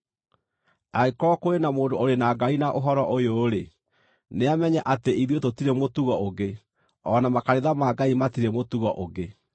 Angĩkorwo kũrĩ na mũndũ ũrĩ na ngarari na ũhoro ũyũ-rĩ, nĩamenye atĩ ithuĩ tũtirĩ mũtugo ũngĩ, o na makanitha ma Ngai matirĩ mũtugo ũngĩ.